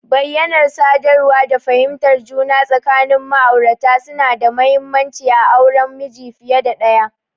Bayyanar sadarwa da fahimtar juna tsakanin ma'aurata suna da mahimmanci a auren miji fiye da ɗaya.